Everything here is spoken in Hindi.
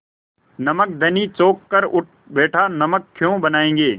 नमक धनी चौंक कर उठ बैठा नमक क्यों बनायेंगे